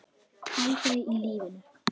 Aldrei í lífinu!